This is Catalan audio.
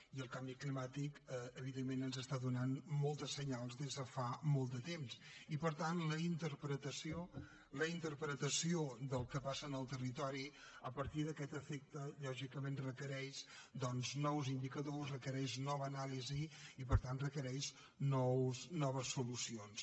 i el canvi climàtic evidentment ens està donant moltes senyals des de fa molt de temps i per tant la interpretació del que passa en el territori a partir d’aquest efecte lògicament requereix doncs nous indicadors requereix nova anàlisi i per tant requereix noves solucions